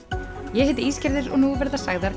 ég heiti Ísgerður og nú verða sagðar